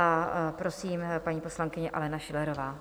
A prosím, paní poslankyně Alena Schillerová.